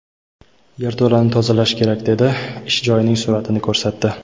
yerto‘lani tozalash kerak dedi va ish joyining suratini ko‘rsatdi.